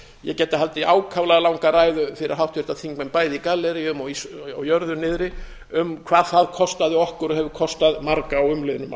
ég gæti haldið ákaflega langa ræðu fyrir háttvirta þingmenn bæði í galleríum og á jörðu niðri um hvað það kostaði okkur og hefur kostað marga á umliðnum